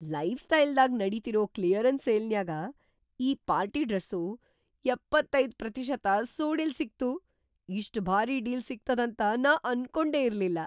Life ಸ್ಟೈಲ್‌ದಾಗ್‌ ನಡೀತಿರೋ clearance ಸೇಲ್ನ್ಯಾಗ್ ಈ ಪಾರ್ಟಿ ಡ್ರೆಸ್ಸು ಎಪ್ಪತೈದು ಪ್ರತಿಶತ ಸೋಡಿಲ್ ಸಿಗ್ತು, ಇಷ್ಟ್‌ ಭಾರೀ ಡೀಲ್‌ ಸಿಗ್ತದಂತ ನಾ ಅನ್ಕೊಂಡೇ ಇರ್ಲಿಲ್ಲ.